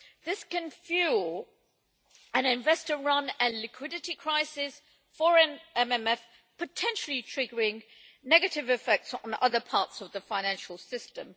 This can fuel an investor run and liquidity crisis, foreign MMFs potentially triggering negative effects on other parts of the financial system.